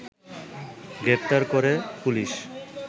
গ্রেপ্তার করে পুলিশ